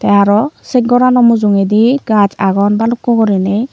arow set gorano mujungedi gaj agon balukko guriney.